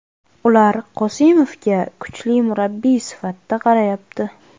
Ular Qosimovga kuchli murabbiy sifatida qarayapti.